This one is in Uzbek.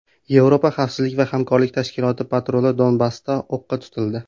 Yevropa xavfsizlik va hamkorlik tashkiloti patruli Donbassda o‘qqa tutildi.